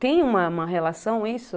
Tem uma uma relação isso?